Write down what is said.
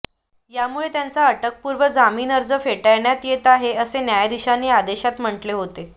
यामुळे त्यांचा अटकपूर्व जामीन अर्ज फेटाळण्यात येत आहे असे न्यायाधीशांनी आदेशात म्हटले होते